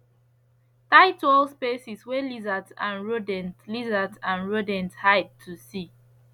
tight wall spaces wey lizards and rodent lizards and rodent hide to see